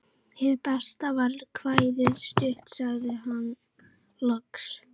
Hið besta var kvæðið flutt, sagði hann loks.